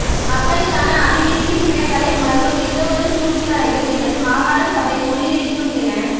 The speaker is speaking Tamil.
மக்களுக்கான அபிவிருத்தி திட்டங்களை முடக்கும் எந்தவொரு சூழ்ச்சிகளையும் எமது மாகாண சபை முறியடிக்கும் என